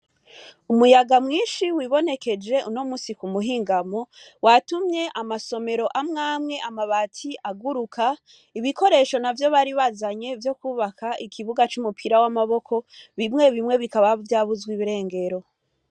Umuyaga mwinshi wibonekeje unomunsi kumuhingamo watumye amwe amwe amabati aguruka ibikoresho nimwe nimwe bari bazanye vyo kubaka ikibuga c'umupira wamaboko bikaba vyabuze irengero.